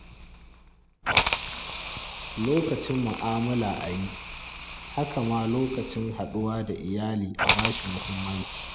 Lokacin mu'amala a yi, haka ma lokacin haɗuwa da iyali a ba shi muhimmanci.